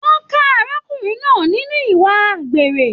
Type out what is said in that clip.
Wọn ka arákùnrin náà nínú ìwà àgbèrè.